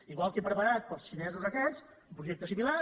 igual que he preparat per als xinesos aquests un projecte similar